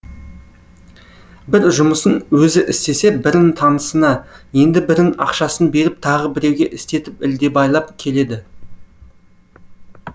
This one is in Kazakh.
бір жұмысын өзі істесе бірін танысына енді бірін ақшасын беріп тағы біреуге істетіп ілдебайлап келеді